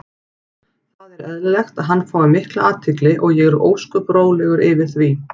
Það er eðlilegt að hann fái mikla athygli og ég er ósköp rólegur yfir því.